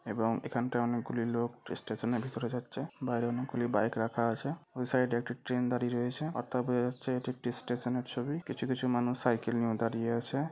এবং এখানটা অনেকগুলি লোক স্টেশন এর ভিতরে যাচ্ছে। বাইরে অনেকগুলি বাইক রাখা আছে। ওই সাইড এ একটু ট্রেন দাঁড়িয়ে রয়েছে। অর্থাৎ বোঝা যেছে এটি একটি স্টেশন এর ছবি। কিছু কিছু মানুষ সাইকেল নিয়েও দাঁড়িয়ে আছে।